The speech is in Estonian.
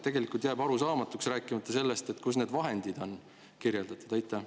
Tegelikult jääb see arusaamatuks, rääkimata sellest, kus need vahendid on kirjeldatud.